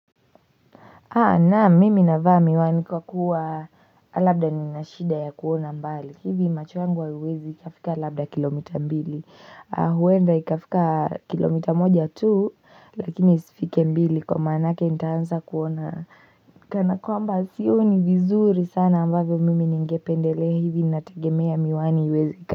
Naam mimi navaa miwani kwa kuwa labda nina shida ya kuona mbali. Hivi macho yangu haiwezi ikafika labda kilomita mbili. Huenda ikafika kilomita moja tu lakini isifike mbili kwa maanake nitaanza kuona. Kana kwamba sioni vizuri sana ambavyo mimi ningependelea hivi nategemea miwani iweze.